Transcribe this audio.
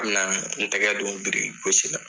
A bɛna n tɛgɛ don biriki gosi la